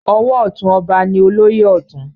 Ọwọ ọtún ọba ni olóyè Ọ̀tún.